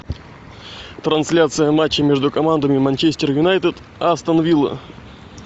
трансляция матча между командами манчестер юнайтед астон вилла